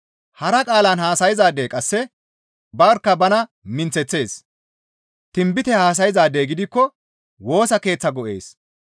Hara qaalan haasayzaadey qasse barkka bana minththeththees; tinbite haasayzaadey gidikko Woosa Keeththaa go7ees.